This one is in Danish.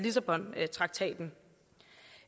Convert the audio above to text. aftalen